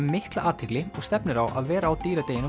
mikla athygli og stefnir á að vera á